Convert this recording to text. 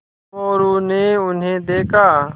मोरू ने उन्हें देखा